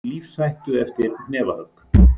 Í lífshættu eftir hnefahögg